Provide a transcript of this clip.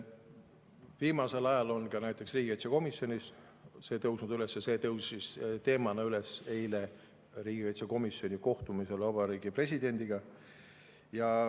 Viimasel ajal on näiteks riigikaitsekomisjonis see teema üles tõusnud ja see tõusis üles ka eile riigikaitsekomisjoni kohtumisel vabariigi presidendiga.